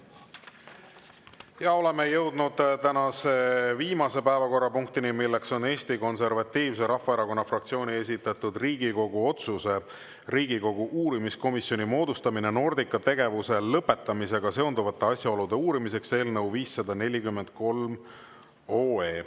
Ja oleme jõudnud tänase viimase päevakorrapunktini, milleks on Eesti Konservatiivse Rahvaerakonna fraktsiooni esitatud Riigikogu otsuse "Riigikogu uurimiskomisjoni moodustamine Nordica tegevuse lõpetamisega seonduvate asjaolude uurimiseks" eelnõu 543.